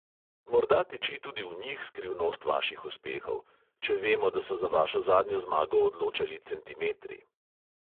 Morda tiči tudi v njih skrivnost vaših uspehov, če vemo, da so za vašo zadnjo zmago odločali centimetri.